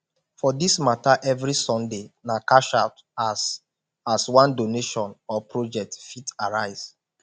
for dis mata evri sunday na cashout as as one donation or project fit arise